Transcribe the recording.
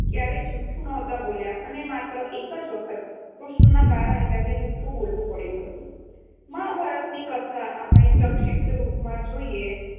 ક્યારેય જુઠું બોલ્યા નહોતા અને માત્ર એક જ વખત કૃષ્ણના કારણે તેમણે જુઠ્ઠું બોલવું પડ્યું હતું. મહાભારત ની કથા આપણે સંક્ષિપ્ત રૂપ માં જોઈએ